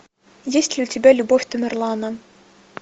есть ли у тебя любовь тамерлана